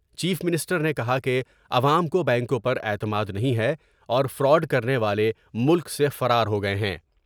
Chief minister نے کہا کہ عوام کو بینکوں پر اعتماد نہیں ہے اور فراڈ کرنے والے ملک سے فرار ہو گئے ہیں ۔